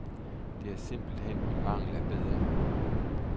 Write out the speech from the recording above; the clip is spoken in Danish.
Det er simpelt hen i mangel af bedre.